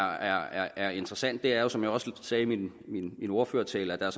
er interessant er som jeg også sagde i min ordførertale at der